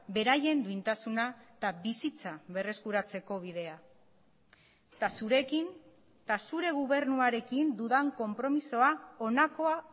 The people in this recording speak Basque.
beraien duintasuna eta bizitza berreskuratzeko bidea eta zurekin eta zure gobernuarekin dudan konpromisoa honakoa